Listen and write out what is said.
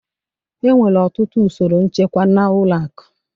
Enwere ọtụtụ usoro nchekwa na ụlọ akụ